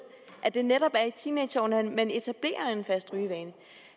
at det netop er i teenageårene man etablerer en fast rygevane